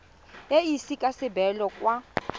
e ise ka sebele kwa